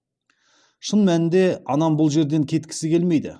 шын мәнінде анам бұл жерден кеткісі келмейді